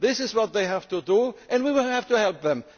This is what they have to do and we will have to help them